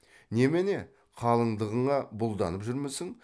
немене қалыңдығыңа бұлданып жүрмісің